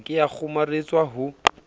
ha ke a kgomaretswa ho